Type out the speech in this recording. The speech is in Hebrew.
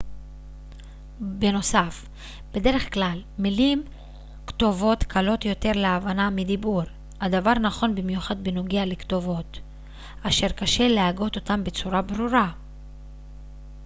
בנוסף בדרך כלל מילים כתובות קלות יותר להבנה מדיבור הדבר נכון במיוחד בנוגע לכתובות אשר קשה להגות אותן בצורה ברורה